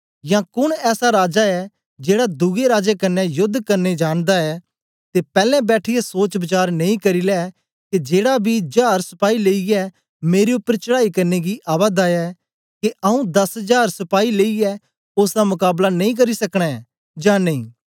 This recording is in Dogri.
या कोन ऐसा राजा ऐ जेड़ा दुए राजा कन्ने योद्द करने जानदा ऐ ते पैलैं बैठिऐ सोच वचार नेई करी लै के जेड़ा बी जार सपाई लेईयै मेरे उपर चढ़ांई करने गी आवा दा ऐ के आऊँ दस जार सपाई लेईयै ओसदा मकाबला करी सकना ऐं जां नेई